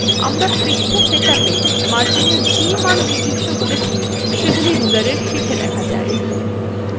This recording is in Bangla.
আমরা পৃষ্ঠা setup we marginএর the মান নির্দিষ্ট করেছি সেগুলি rulerএর শেষে দেখা যায়